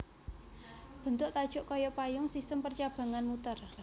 Bentuk tajuk kaya payung sistem percabangan muter